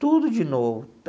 Tudo de novo.